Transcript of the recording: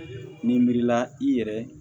Ninmiri la i yɛrɛ